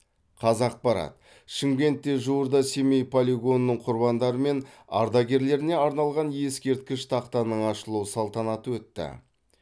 қазақпарат шымкентте жуырда семей полигонының құрбандары мен ардагерлеріне арналған ескерткіш тақтаның ашылу салтанаты өтті